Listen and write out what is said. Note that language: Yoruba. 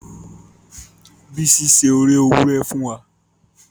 Bisi se ori éwurẹ fùn wa